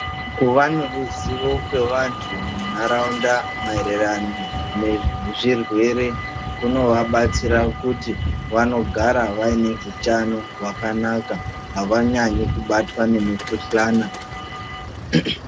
Kuva neruzivo nevantu munharaunda maererano nezvirwere kunovabatsira kuti vanogara vaine hutano hwakanaka, havanyanyi kubatwa nemikuhlana.